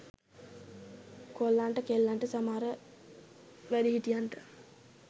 කොල්ලන්ට කෙල්ලන්ට සමහර වැඩි හිටියන්ට